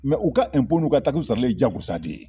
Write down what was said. u ka n'u ka sarali ye jagosa de ye